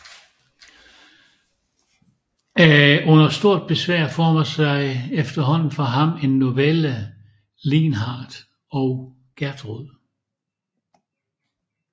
Under stort besvær formede sig efterhånden for ham en novelle Lienhard og Gertrud